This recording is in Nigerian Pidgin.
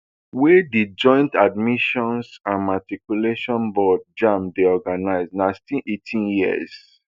wey di joint admissions and matriculation board jamb dey organise na still eighteen years